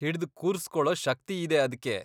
ಹಿಡ್ದ್ ಕೂರ್ಸ್ಕೊಳೋ ಶಕ್ತಿಯಿದೆ ಅದ್ಕೆ.